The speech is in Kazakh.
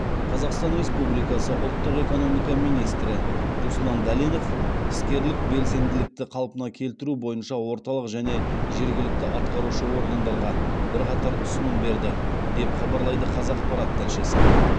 қазақстан республикасы ұлттық экономика министрі руслан дәленов іскерлік белсенділікті қалпына келтіру бойынша орталық және жергілікті атқарушы органдарға бірқатар ұсыным берді деп хабарлайды қазақпарат тілшісі